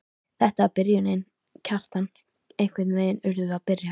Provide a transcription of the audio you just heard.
Þetta var byrjunin, Kjartan, einhvern veginn urðum við að byrja.